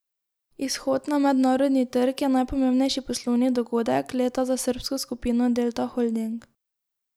Izhod na mednarodni trg je najpomembnejši poslovni dogodek leta za srbsko skupino Delta holding.